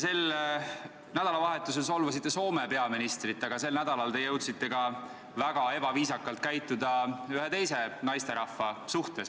Sel nädalavahetusel solvasite te Soome peaministrit, aga sel nädalal jõudsite te väga ebaviisakalt käituda ka ühe teise naisterahvaga.